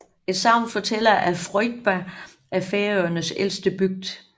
Et sagn fortæller at Froðba er Færøernes ældste bygd